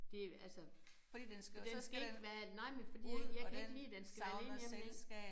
Det altså den skal ikke være nej men fordi jeg jeg kan ikke lide den skal være alene hjemme vel